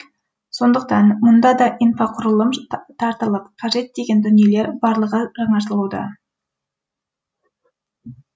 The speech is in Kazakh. сондықтан мұнда да инфрақұрылым тартылып қажет деген дүниелер барлығы жаңғыртылуда